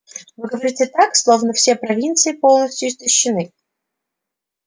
вы говорите так словно все провинции полностью истощены